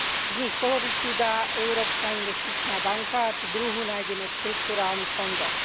Z nich polovicu dá Európska investičná banka a tú druhú nájdeme v štrukturálnych fondoch.